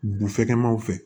Bufɛkɛmanw fɛ